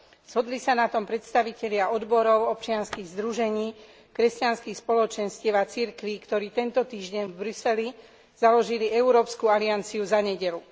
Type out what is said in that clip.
Zhodli sa na tom predstavitelia odborov, občianskych združení, kresťanských spoločenstiev a cirkví, ktorí v tento týždeň v Bruseli založili Európsku alianciu za nedeľu.